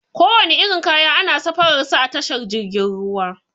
Kowane irin kaya ana safarar sa a tashar jirgin ruwa.